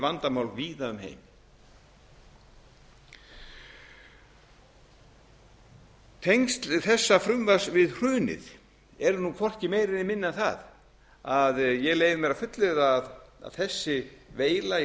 vandamál víða um heim tengsl þessa frumvarps við hrunið eru nú hvorki meira né minna en það að ég leyfi mér að fullyrða að þessi veila í